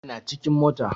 Yana cikin mota